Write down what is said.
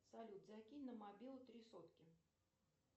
салют закинь на мобилу три сотки